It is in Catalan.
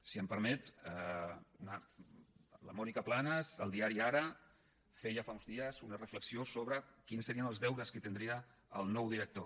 si m’ho permet la mònica planas al diari ara feia fa uns dies una reflexió sobre quins serien els deures que tindria el nou director